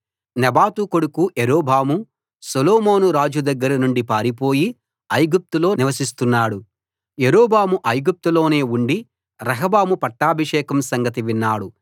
నెబాతు కొడుకు యరొబాము సొలొమోను రాజు దగ్గర నుండి పారిపోయి ఐగుప్తులో నివసిస్తున్నాడు యరొబాము ఐగుప్తులోనే ఉండి రెహబాము పట్టాభిషేకం సంగతి విన్నాడు